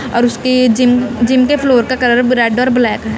और उसकी जिन जिनके फ्लोर का कलर रेड और ब्लैक --